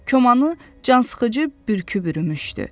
Komanı cansıxıcı bürkü bürümüşdü.